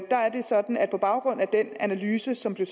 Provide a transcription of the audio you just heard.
er det sådan at på baggrund af den analyse som blev